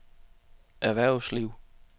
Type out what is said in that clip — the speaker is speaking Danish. erhvervsliv